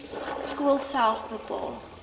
skool self bepaal